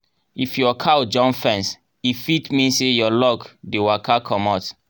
if your cow jump fence e fit mean say your luck dey waka comot.